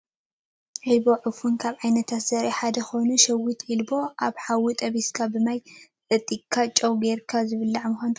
ዒልቦ /ዕፉን/ ካብ ዓይነታት ዘሪኢ ሓደ ኮይኑ ሸዊት ዒልቦ ኣብ ሓዊ ጠቢስካን ብማይ ጠጢካ ጨው ገርካ ዝብላዕ ምኳኑ ትፈልጡ ዶ ?